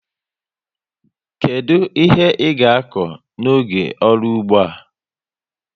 Kedu ihe i ga akọ n'oge ọrụ ụgbọ a?